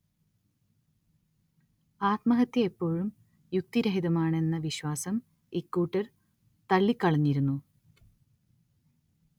ആത്മഹത്യ എപ്പോഴും യുക്തിരഹിതമാണെന്ന വിശ്വാസം ഇക്കൂട്ടർ ത‌‌ള്ളിക്കളഞ്ഞിരുന്നു